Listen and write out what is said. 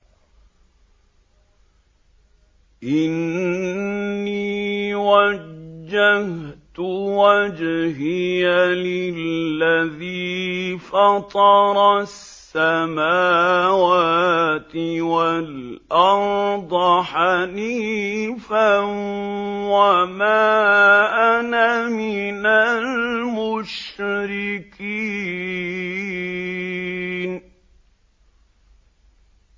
إِنِّي وَجَّهْتُ وَجْهِيَ لِلَّذِي فَطَرَ السَّمَاوَاتِ وَالْأَرْضَ حَنِيفًا ۖ وَمَا أَنَا مِنَ الْمُشْرِكِينَ